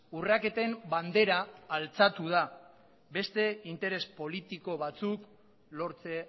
urraketen bandera altxatu da beste interes politiko batzuk lortze